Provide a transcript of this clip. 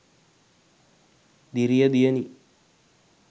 diriya diyani